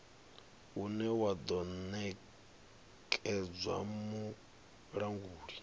une wa do nekedzwa mulanguli